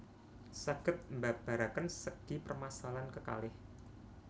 Saged mbabaraken segi permasalahan kekalih